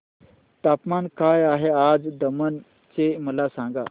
तापमान काय आहे आज दमण चे मला सांगा